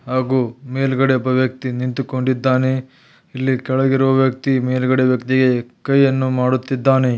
ಹಾಗೂ ಮೇಲ್ಗಡೆ ಒಬ್ಬ ವ್ಯಕ್ತಿ ನಿಂತುಕೊಂಡಿದ್ದಾನೆ ಇಲ್ಲಿ ಕೆಳಗಿರುವ ವ್ಯಕ್ತಿ ಮೇಲ್ಗಡೆ ಇರೋ ವ್ಯಕ್ತಿಗೆ ಕೈಯನ್ನು ಮಾಡುತ್ತಿದ್ದಾನೆ.